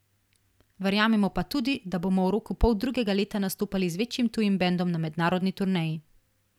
Verjamemo pa tudi, da bomo v roku poldrugega leta nastopali z večjim tujim bendom na mednarodni turneji.